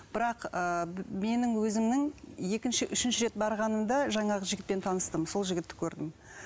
бірақ ы менің өзімнің екінші үшінші рет барғанымда жаңағы жігітпен таныстым сол жігітті көрдім